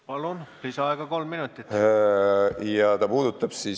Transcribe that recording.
Palun, lisaaeg kolm minutit!